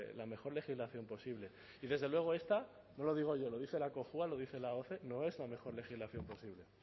la mejor legislación posible y desde luego esta no lo digo yo lo dice la cojua lo dice la oce no es la mejor legislación posible